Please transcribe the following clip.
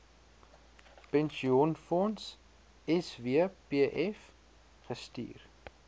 pensioenfonds swpf gestuur